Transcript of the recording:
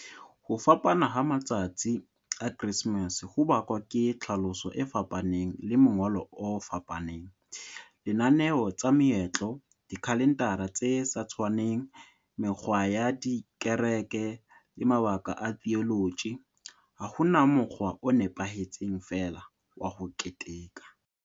Ho fapana ha matsatsi a Kresemese ho bakwa ke tlhaloso e fapaneng le mongolo o fapaneng. Lenaneo tsa meetlo dikhalendara tse sa tshwaneng mekgwa ya dikereke le mabaka a theology ha hona mokgwa o nepahetseng fela wa ho keteka.